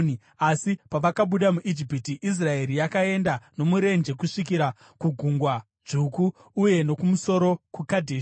Asi pavakabuda muIjipiti, Israeri yakaenda nomurenje kusvikira kuGungwa Dzvuku uye nokumusoro kuKadheshi.